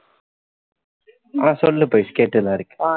ஆஹ் சொல்லு பவிஸ் கேட்டுட்டு தான் இருக்கேன்